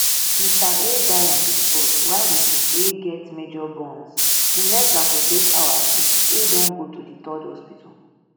mr a die on di spot while mrs a get major burns in less dan forty-eight hours mrs a don go to di threerd hospital